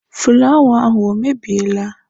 fụlawa ahụ o mebiela?